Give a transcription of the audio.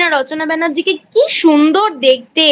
রচনা ব্যানার্জিকে কী সুন্দরদেখতে